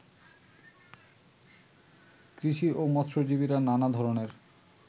কৃষি ও মৎস্যজীবীরা নানা ধরনের